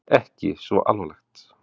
Ekki svo alvarlegt?